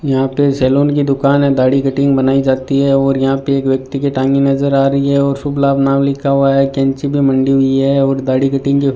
यहां पे सैलून की दुकान है दाढ़ी कटिंग बनाई जाती है और यहां पे एक व्यक्ति के टांगे नजर आ रही हैं और शुभ लाभ नाम लिखा हुआ है कैंची भी मंडी हुई है और दाढ़ी कटिंग के --